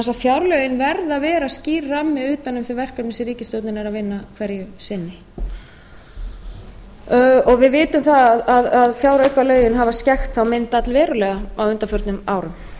að fjárlögin verða að vera skýr rammi utan um þau verkefni sem ríkisstjórnin er að vinna hverju sinni við vitum að fjáraukalögin hafa skekkt þá mynd allverulega á undanförnum árum